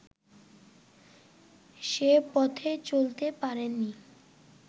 সে পথে চলতে পারে নি